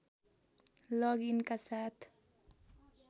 लग इनका साथ